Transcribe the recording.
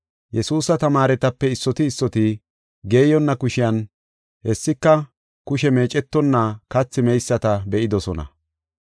Yesuusa tamaaretape issoti issoti geeyonna kushiyan, hessika kushe meecetonna kathi meyisata be7idosona.